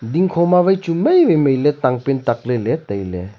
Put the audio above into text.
dingkho ma wai chu mai wai mai le tangpan tak lele taile.